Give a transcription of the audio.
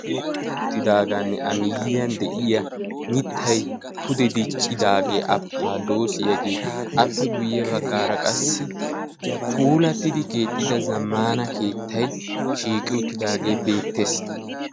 uttidaagaani a miyiyan de'iya mitay pude diccidaagee afkaadoosiyaagee appe guye bagaara qassi pullatidi keexetti zamaana keettay shiiqi uttidaagee beetees.